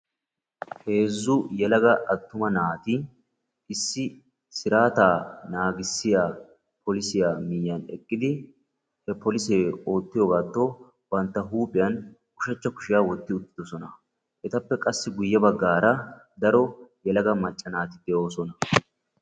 Heezzu yelaga attuma naati kawuwaa siraataa naagssiiyaa polissiyaa miyiyaan eqqidi gidin he polisee oottiyoogato bantta huuphphiyaan ushshachcha kushshiyaa wotti uttidosona. etappe qassi guye baggaara daro yelaga macca naati de'oosona.